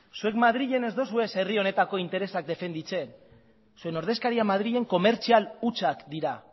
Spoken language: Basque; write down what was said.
zuek madrilen ez duzue herri honetako interesak defendatzen zuen ordezkaria madrilen komertzial hutsak dira